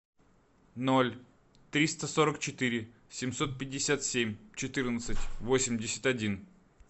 ноль триста сорок четыре семьсот пятьдесят семь четырнадцать восемьдесят один